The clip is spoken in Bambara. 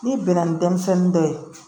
N'i bɛnna ni denmisɛnnin dɔ ye